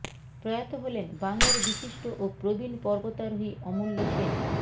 প্রয়াত হলেন বাংলার বিশিষ্ট ও প্রবীণ পর্বতারোহী অমূল্য সেন